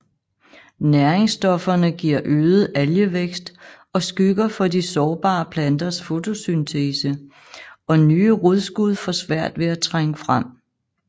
Næringsstofferne giver øget algevækst og skygger for de sårbare planters fotosyntese og nye rodskud får svært ved at trænge frem